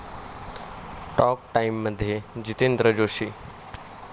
talk टाइम'मध्ये जितेंद्र जोशी